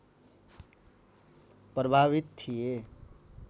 प्रभावित थिए